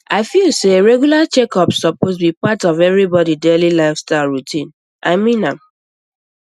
i feel say regular checkups suppose be part of everybody daily lifestyle routine i mean am